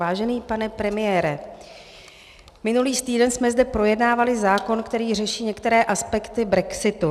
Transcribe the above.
Vážený pane premiére, minulý týden jsme zde projednávali zákon, který řeší některé aspekty brexitu.